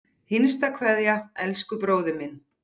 HINSTA KVEÐJA Elsku bróðir minn.